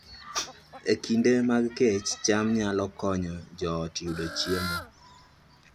E kinde mag kech, cham nyalo konyo joot yudo chiemo